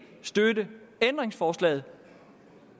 støtte ændringsforslaget